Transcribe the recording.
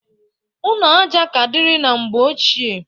Ụnọ aja ka diri na mgbe ochie.